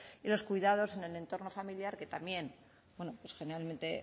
y los cuidados en el entorno familiar que también bueno pues generalmente